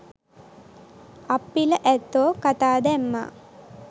අප්පිල ඇත්තෝ කතා දැම්මා